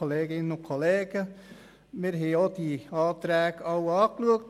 Wir haben die Anträge angeschaut.